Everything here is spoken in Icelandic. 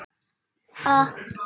Ég var að lýsa Þuru.